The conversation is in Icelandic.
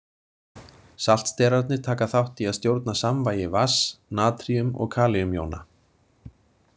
Saltsterarnir taka þátt í að stjórna samvægi vatns, natríum- og kalíumjóna.